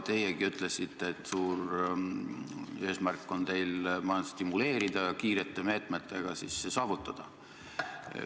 Teiegi ütlesite, et suur eesmärk on teil majandust stimuleerida, kiirete meetmetega see saavutada.